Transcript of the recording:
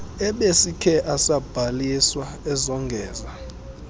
ebesikhe asabhaliswa ezongeza